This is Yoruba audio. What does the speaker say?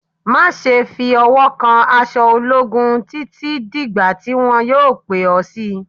Má ṣe fi ọwọ́ kan aṣọ ológun títí dìgbà tí wọn yoh pè ọ́ sí i